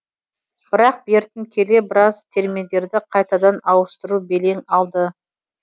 бірақ бертін келе біраз терминдерді қайтадан ауыстыру белең алды